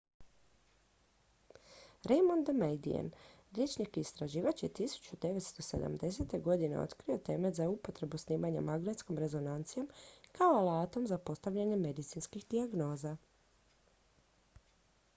raymond damadian liječnik i istraživač je 1970. godine otkrio temelj za upotrebu snimanja magnetskom rezonancijom kao alatom za postavljanje medicinskih dijagnoza